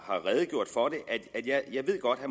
redegjort for jeg ved godt at